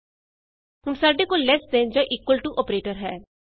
ਹੁਣ ਸਾਡੇ ਕੋਲ ਲ਼ੇਸ ਦੇਨ ਜਾਂ ਇਕੁਅਲ ਟੂ ਅੋਪਰੇਟਰ ਹੈ